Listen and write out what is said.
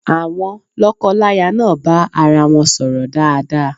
Àwon lọ́kọláya náà bá arawọn sọ̀rọ̀ dáadáa.